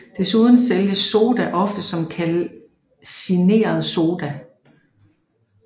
Desuden sælges soda ofte som kalcineret Soda